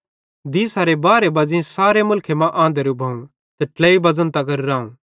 दीसारे बारे बज़ेई सारे मुल्खे मां आंधरू भोवं ते ट्लेइ बज़न तगर रावं